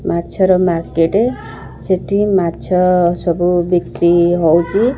ମାଛ ର ମାର୍କେଟ ଟେ ସେଠି ମାଛ ସବୁ ବିକ୍ରି ହେଉଛି।